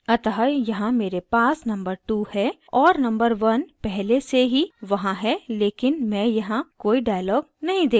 अतः यहाँ मेरे पास number 2 है और number 1 पहले से ही वहाँ है लेकिन मैं यहाँ कोई dialog नहीं देख सकती